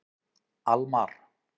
Almar